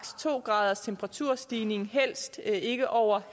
to graders temperaturstigning helst ikke over